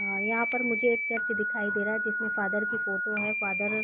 अ यहाँ पर मुझे एक चर्च दिखाई दे रहा है जिसमें फादर की फोटो है फादर --